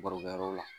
Barokɛyɔrɔ la